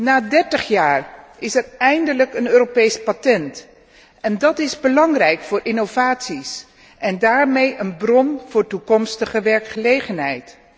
Na dertig jaar is er eindelijk een Europees patent en dat is belangrijk voor innovaties en daarmee een bron voor toekomstige werkgelegenheid.